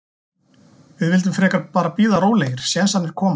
Við vildum frekar bara bíða rólegir, sénsarnir koma.